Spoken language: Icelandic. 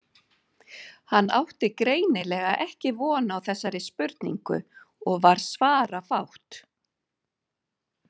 Hann átti greinilega ekki von á þessari spurningu og var svarafátt.